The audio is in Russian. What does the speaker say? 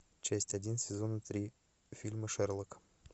часть один сезона три фильма шерлок